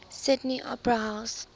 sydney opera house